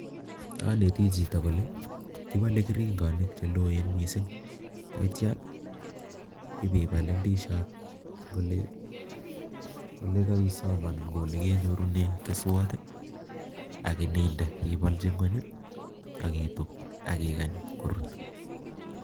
Anetii chito kole kibole keringonik che loen, yeityoo ibeilolu indisiot en olekesom ak inyorunen keswot,,ak imin ibolchi ngwony, ak ituub ak ikany korur